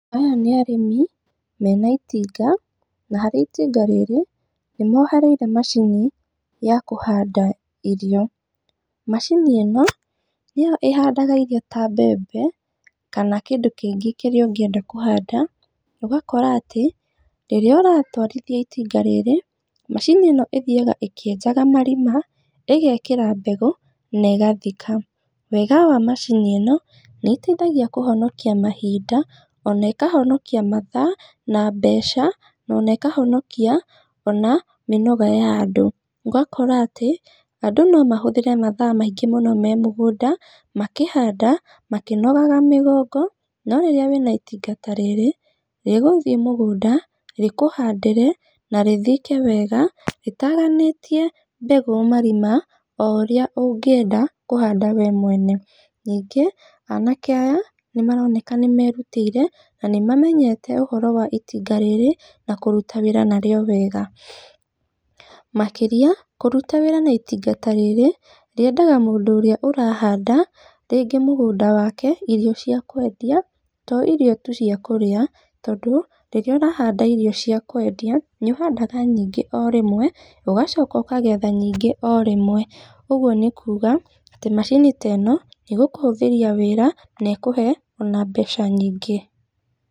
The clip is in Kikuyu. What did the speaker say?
Aya nĩ arĩmi, mena itinga, na harĩ itinga rĩrĩ nĩ mohereire macini, ya kũhanda irio, macini ĩno, nĩyo ĩhandaga irio ta mbembe, kana kĩndũ kĩngĩ kĩria ũngĩenda kuhanda, ũgakora atĩ rĩrĩa ũratwarithia itinga rĩrĩ, macini ĩno ĩthiaga ĩkĩenjaga marima, ĩgekĩra mbegũ, na ĩgathika, wega wa macini ĩno, nĩ ĩteithagia kũhonokia mahinda, ona ĩkahonokia mathaa, na mbeca, nona ĩkahonokia ona mĩnoga ya andũ, ũgakora atĩ andũ no mahũthĩre mathaa maingĩ mũno memũgũnda makĩhanda, makĩnogaga mĩgongo, no rĩrĩa wĩna itinga ta rĩrĩ, rĩguthiĩ mũgũnda rĩkũhandĩre, na rĩthike wega, rĩtaganĩtie mbegũ marima o ũrĩa ũngĩenda kũhanda we mwene, nyingĩ anake aya nĩ maroneka nĩ merutĩire na nĩ mamenyete ũhoro wa itinga rĩrĩ na kũruta wĩra narĩo wega, makĩria kũruta wĩra na itinga ta rĩrĩ rĩendaga mũndũ ũrĩa ũrahanda, rĩngĩ mũgũnda wake irio ciakwendia, to irio tu ciakũrĩa, tondũ rĩrĩa ũrahanda irio cia kwendia, nĩ ũhandaga nyingĩ o rĩmwe, ũgacoka ũkagetha nyingĩ o rĩmwe, ũguo nĩ kuga, atĩ macini teno, nĩ gũkũhũthĩria wĩra ona ĩkũhe ona mbeca nyingĩ.